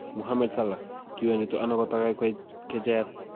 Mohammed Salah: Kiwendito ano kotagai koik kecheiyat?